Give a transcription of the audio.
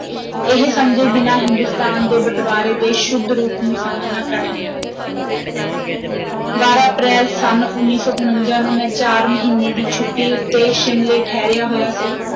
ਇਹ ਸਮਝੇ ਬਿਨਾਂ ਹਿੰਦੁਸਤਾਨ ਦੇ ਬਟਵਾਰੇ ਦੇ ਸ਼ੁੱਧ ਰੂਪ ਨੂੰ ਸਮਝਣਾ ਕਠਨ ਹੈ ਬਾਰਾਂ ਅਪ੍ਰੈਲ, ਸੰਨ ਉੱਨੀ ਸੌ ਉਣੰਜਾ ਨੂੰ ਮੈਂ ਚਾਰ ਮਹੀਨੇ ਦੀ ਛੁੱਟੀ ਉਤੇ ਸ਼ਿਮਲੇ ਠਹਿਰਿਆ ਹੋਇਆ ਸੀ।